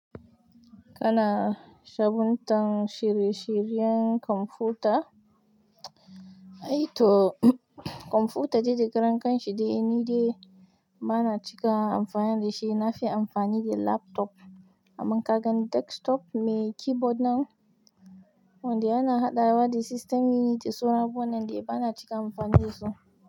Kana sabuntan shirye-shiryen kwamfuta? Ai to kwamfuta de da karen kanshi dai ni dai ba na cika amfani da shi. Na fi amfani da laptop, amma kagan desktop me keyboard nan wande yana haɗawa da system unit duk sauran abubuwan nan dai bana cika yin amfani dasu.